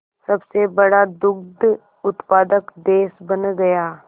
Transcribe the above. सबसे बड़ा दुग्ध उत्पादक देश बन गया